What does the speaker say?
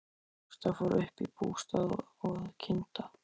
Ásta fór upp í bústað að kynda.